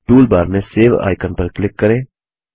toolbar में save icon पर click करें